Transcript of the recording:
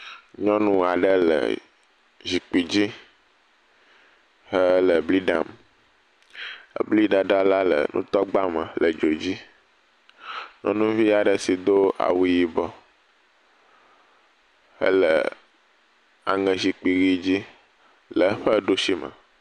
Nyɔnu aɖe le zikpui dzi hele bli ɖam. Ebliɖaɖa la le nutɔgba me le dzo dzi. Nyɔnuvi aɖe si do awu yibɔ hele aŋezikpuiʋi dzi le eƒe ɖusime.